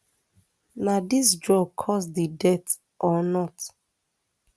na dis drugs cause di death or not